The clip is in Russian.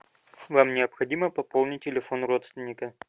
нам необходимо пополнить телефон родственника